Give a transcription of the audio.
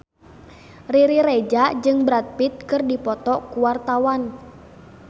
Riri Reza jeung Brad Pitt keur dipoto ku wartawan